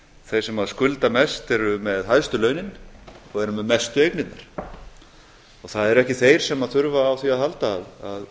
þeir sem skulda mest eru með hæstu launin og eru með mestu eignirnar og það eru ekki þeir sem þurfa á því að halda að